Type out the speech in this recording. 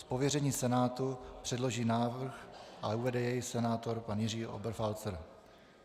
Z pověření Senátu předloží návrh a uvede jej senátor pan Jiří Oberfalzer.